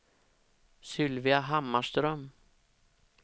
Sylvia Hammarström